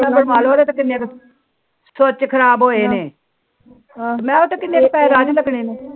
ਕ ਖਰਾਬ ਹੋਏ ਨੇ